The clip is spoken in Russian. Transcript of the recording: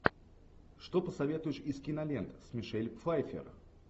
что посоветуешь из кинолент с мишель пфайфер